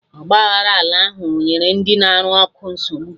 Ọgba aghara ala ahụ o nyere ndị na arụ ụkọ nsogbu?